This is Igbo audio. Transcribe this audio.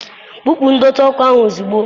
Kpupu ndọtị ọkụ ahụ ozugbo!